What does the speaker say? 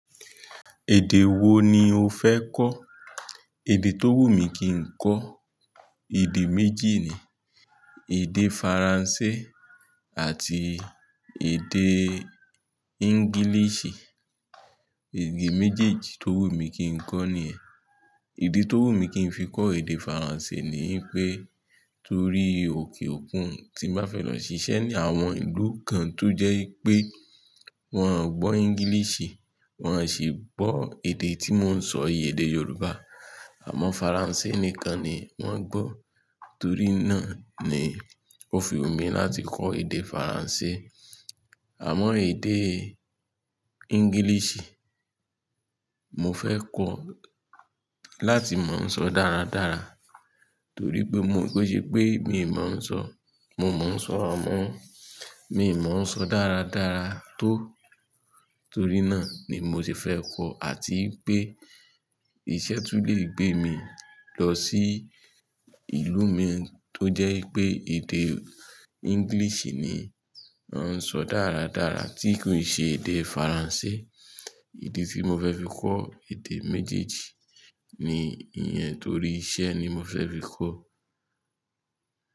Èdè wo ni o fẹ́ kọ́? Èdè tó wù mí kí n kọ, èdè méjì ni, èdè Faransé àti èdè English. Èdè méjèèjì tó wù mí kí n kọ ní ẹ̀. Idi tó wù mí kí n fi kọ èdè Faransé ni pé torí òkè òkun tí má fẹ́ lọ ṣiṣẹ́ ní àwọn ìlú kan tó jẹ́ pé wọ́n ò gbọ́ English, wọ́n ò sì gbọ́ èdè tí mò ń sọ yii, èdè Yorùbá. Àmọ́ Faransé nìkan ni wọ́n gbọ́. Torí náà ni ó fi wù mí láti kọ èdè Faransé. Àmọ́ èdè English, mo fẹ́ kọ láti mò ń sọ dáradára torí pé mò ń gbọ́ pé mi ò mọ̀ ń sọ, mo ò mọ̀ ń sọ ràrá mọ́, mi ò mọ̀ ń sọ dáradára tó. Torí náà ni mo sì fẹ́ kọ àti pé iṣẹ́ tún lè gbé mi lọ sí ìlú mí tó jẹ́ pé èdè English ni wọ́n ń sọ dáradára tí kò ṣe èdè Faransé. Idi tí mo fẹ́ fi kọ èdè méjèèjì ni ìyẹn torí iṣẹ́ ni mo fẹ́ fi kọ.